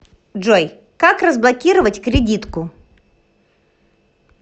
джой как разблокировать кредитку